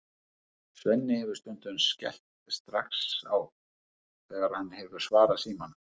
Svenni hefur stundum skellt strax á þegar hann hefur svarað símanum.